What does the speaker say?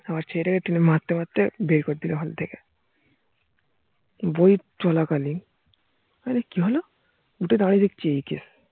আবার ছেলে টাকে মারতে মারতে বের করে দিলো হল থেকে বই চলা কালীন অরে কি হলো, উঠে দেখছি এই case